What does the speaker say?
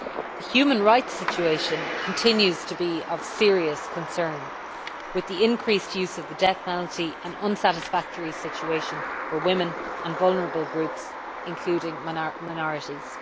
The human rights situation continues to be of serious concern, with the increased use of the death penalty an unsatisfactory situation for women and vulnerable groups, including minorities.